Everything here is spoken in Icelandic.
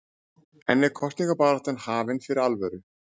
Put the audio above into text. En er kosningabaráttan hafin fyrir alvöru?